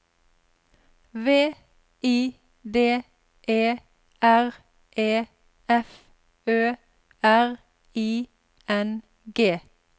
V I D E R E F Ø R I N G